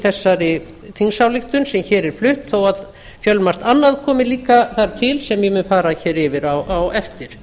þessari þingsályktun sem hér er flutt þó að fjölmargt annað komi þar líka til sem ég mun fara yfir á eftir